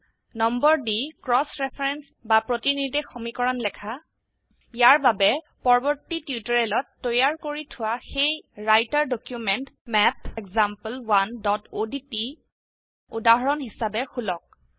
number the cross reference বা প্ৰতিনিৰ্দেশ সমীকৰণ লেখা ইয়াৰ বাবে পৰ্বৰ্তী টিউটোৰিয়েলত তৈয়াৰ কৰি থোৱা সেই ৰাইটাৰ ডকিউমেন্ট MathExample1odt উদাহৰন হিচাবে খুলক